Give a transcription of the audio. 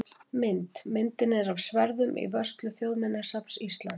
Mynd: Myndin er af sverðum í vörslu Þjóðminjasafns Íslands.